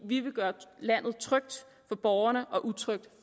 vi vil gøre landet trygt for borgerne og utrygt